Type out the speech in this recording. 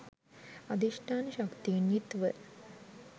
අධිෂ්ඨාන ශක්තියෙන් යුතුව